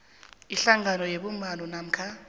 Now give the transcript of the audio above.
ihlangano yebumbano namkha